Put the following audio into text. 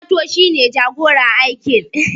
Mato shi ne jagoran aikin